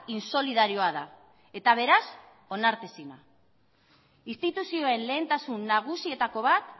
insolidarioa da eta beraz onartezina instituzioen lehentasun nagusietako bat